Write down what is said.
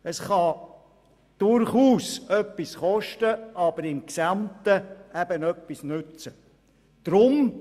Ein Vorstoss kann durchaus etwas kosten, für das Gesamte aber eben Nutzen bringen.